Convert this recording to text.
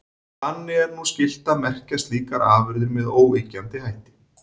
Þannig er nú skylt að merkja slíkar afurðir með óyggjandi hætti.